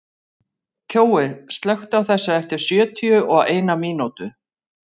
Kjói, slökktu á þessu eftir sjötíu og eina mínútur.